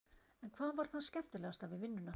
En hvað var það skemmtilegasta við vinnuna?